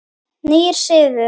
Nýr siður!